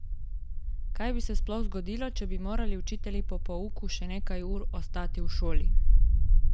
Kaj bi se sploh zgodilo, če bi morali učitelji po pouku še nekaj ur ostati v šoli?